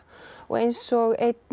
og eins og